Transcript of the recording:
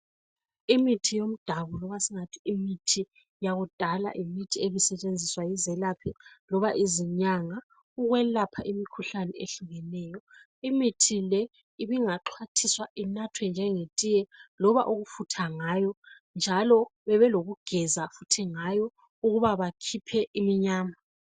Imithi yomdabu loba singathi imithi yakudala yimithi ebisetshenziswa yizelaphi loba izinyanga ukwelapha imikhuhlane ehlukeneyo. Imithi le ibingaxhwathiswa inathwe njengetiye loba ukufutha ngayo njalo bebelokugeza ngayo ukuthi bakhiphe umnyama.